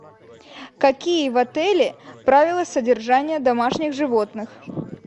какие в отеле правила содержания домашних животных